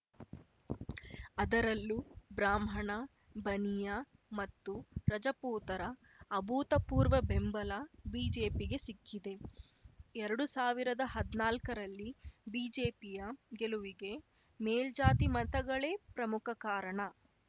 ಅದರಲ್ಲೂ ಬ್ರಾಹ್ಮಣ ಬನಿಯಾ ಮತ್ತು ರಜಪೂತರ ಅಭೂತಪೂರ್ವ ಬೆಂಬಲ ಬಿಜೆಪಿಗೆ ಸಿಕ್ಕಿದೆ ಎರಡು ಸಾವಿರದ ಹದ್ನಾಲ್ಕರಲ್ಲಿ ಬಿಜೆಪಿಯ ಗೆಲುವಿಗೆ ಮೇಲ್ಜಾತಿ ಮತಗಳೇ ಪ್ರಮುಖ ಕಾರಣ